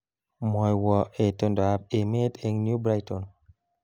Mwowo itondoab emet eng New Brighton